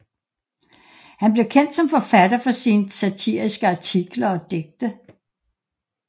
Han blev kendt som forfatter for sine satiriske artikler og digte